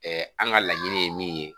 an ka laɲini ye min ye